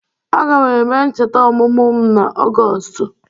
Aga m eme ncheta ọmụmụ m n’Ọgọstụ.